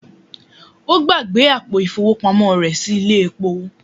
Ó gbàgbé àpò ìfowópamọ́ rẹ̀ sí ilé epo